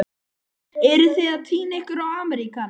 Eruð þið að týna ykkur í Ameríkana?